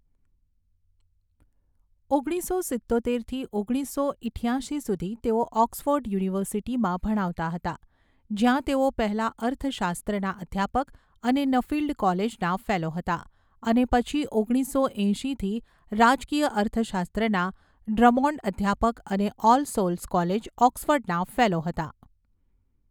ઓગણીસો સિત્તોતેરથી ઓગણીસો ઈઠ્યાશી સુધી તેઓ ઓક્સફર્ડ યુનિવર્સિટીમાં ભણાવતા હતા, જ્યાં તેઓ પહેલા અર્થશાસ્ત્રના અધ્યાપક અને નફીલ્ડ કોલેજના ફેલો હતા, અને પછી ઓગણીસો એંશીથી રાજકીય અર્થશાસ્ત્રના ડ્રમોન્ડ અધ્યાપક અને ઓલ સોલ્સ કોલેજ, ઓક્સફર્ડના ફેલો હતા.